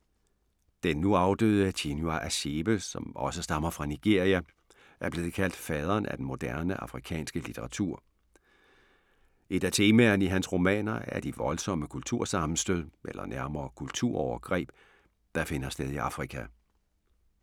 Den nu afdøde Chinua Achebe, som også stammer fra Nigeria, er blevet kaldt faderen af moderne afrikansk litteratur. Et af temaerne i hans romaner er de voldsomme kultursammenstød, eller nærmere kulturovergreb, der finder sted i Afrika.